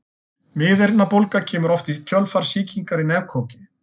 Miðeyrnabólga kemur oft í kjölfar sýkingar í nefkoki.